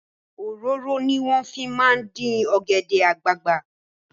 Òróró ni wọ́n fi máa ń dín ọ̀gẹ̀dẹ̀ àgbagbà.